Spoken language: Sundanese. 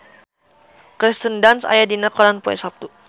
Kirsten Dunst aya dina koran poe Saptu